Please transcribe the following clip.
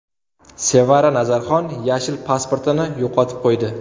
Sevara Nazarxon yashil pasportini yo‘qotib qo‘ydi.